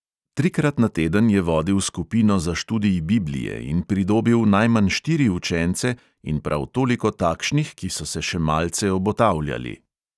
Trikrat na teden je vodil skupino za študij biblije in pridobil najmanj štiri učence in prav toliko takšnih, ki so se še malce obotavljali.